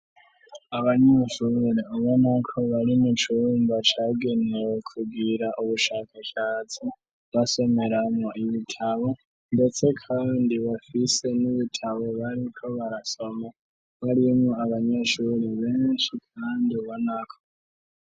Abanyishurure ubo nauko bari mo icurumba cagenewe kubwira ubushakasatsi basomeramwo ibitabo, ndetse, kandi bafise n'ibitabo bariko barasoma barimwo abanyeshuri benshi, kandi bo nako.